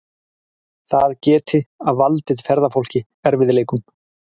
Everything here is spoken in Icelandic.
Það geti valdið ferðafólki erfiðleikum